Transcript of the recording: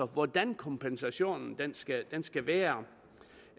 hvordan kompensationen skal skal være